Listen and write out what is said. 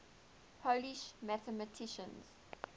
polish mathematicians